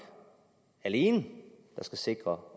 alene der skal sikre